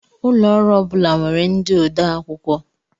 Ụlọ ọrụ ọ bula nwèrè ndị ode akwụkwọ